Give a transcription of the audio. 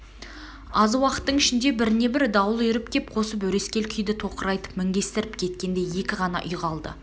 аз уақыттың ішінде бірне-бір дауыл үйріп кеп қосып өрескел күйді тоқырайтып мінгестіріп кеткендей екі ғана үй қалды